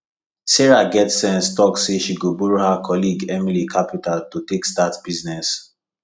sarah get sense talk say she go borrow her colleague emily capital to take start business